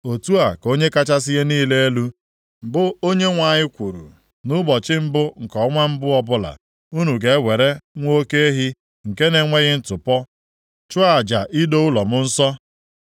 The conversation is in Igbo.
“ ‘Otu a ka Onye kachasị ihe niile elu, bụ Onyenwe anyị kwuru: Nʼụbọchị mbụ nke ọnwa mbụ ọbụla, unu ga-ewere nwa oke ehi nke na-enweghị ntụpọ, chụọ aja ido ụlọnsọ m nsọ.